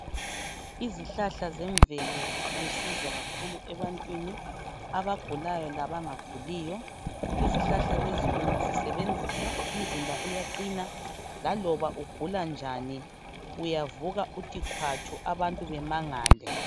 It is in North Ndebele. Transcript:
Izihlahal zemvelo zilusizo kakhulu ebantwini abagulayo labangaguliyo. Izihlahla lezi ungazisebenzisa umzimba uyaqina laloba ugula njani uyavuka uthi khwatshu abantu bemangale.